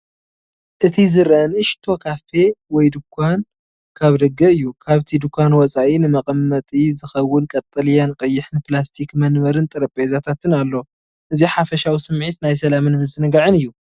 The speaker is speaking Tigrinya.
እቲ ዝረአ ንእሽቶ ካፌ ወይ ድኳን ካብ ደገ እዩ። ካብቲ ድኳን ወጻኢ ንመቐመጢ ዝኸውን ቀጠልያን ቀይሕን ፕላስቲክ መንበርን ጠረጴዛታትን ኣሎ። እዚሓፈሻዊ ስምዒት ናይ ሰላምን ምዝንጋዕን እዩ።